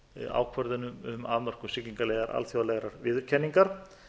ákvörðunum um afmörkun siglingaleiða alþjóðlegrar viðurkenningar